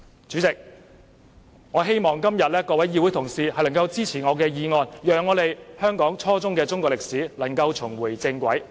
主席，我希望各位議會同事今天會支持我的議案，讓香港初中中史重回正軌。